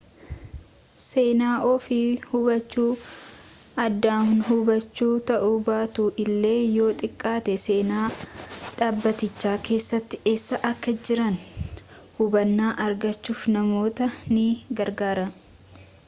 seenaa ofii hubachuu aadaahubachuu ta'uu baatu illee yoo xiqqaate seenaa dhaabbatichaa keessatti eessa akka jiran hubannaa argachuuf namoota ni gargaara